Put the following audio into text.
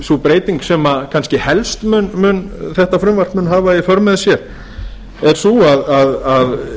sú breyting sem þetta frumvarp mun kannski helst hafa í för með sér væri sú að